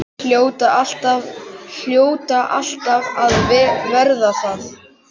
Hljóta alltaf að verða það.